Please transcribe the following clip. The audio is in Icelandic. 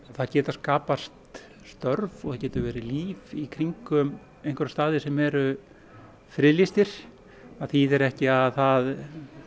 það geta skapast störf og það getur verið líf í kringum einhverja staði sem eru friðlýstir það þýðir ekki að það